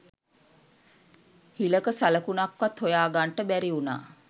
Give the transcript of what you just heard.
හිලක සලකුණක්වත් හොයාගන්ට බැරිවුණා.